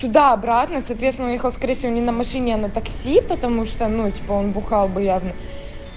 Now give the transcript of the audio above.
туда обратно соответственно он выехал скорее всего не на машине а на такси потому что ну типа он бухал бы явно